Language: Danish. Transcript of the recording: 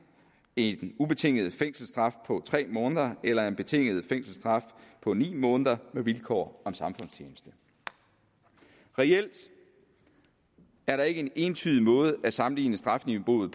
en ubetinget fængselsstraf på tre måneder eller en betinget fængselsstraf på ni måneder med vilkår om samfundstjeneste reelt er der ikke en entydig måde at sammenligne strafniveauet